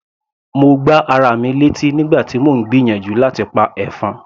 Mo gbá ara mi létí nígbà tí mò ń gbìyànjú láti pa ẹ̀fọn.